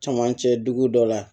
Camancɛ dugu dɔ la